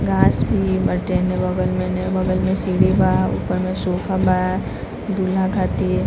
घास भी बाटे इने बगल में सीढ़ी बा ऊपर में सोफा बादूल्हा खातिर।